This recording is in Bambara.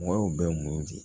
Mɔgɔw bɛ mun di